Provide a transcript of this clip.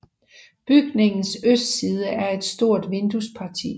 Bygningens østside er et stort vinduesparti